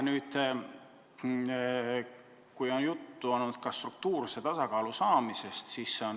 Juttu on olnud ka struktuurse tasakaalu saavutamisest.